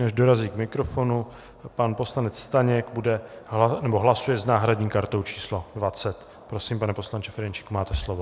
Než dorazí k mikrofonu - pan poslanec Staněk hlasuje s náhradní kartou číslo 20. Prosím, pane poslanče Ferjenčíku, máte slovo.